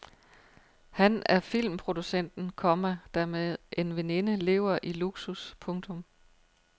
Han er filmproducenten, komma der med en veninde lever i luksus. punktum